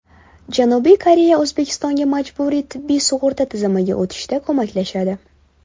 Janubiy Koreya O‘zbekistonga majburiy tibbiy sug‘urta tizimiga o‘tishda ko‘maklashadi.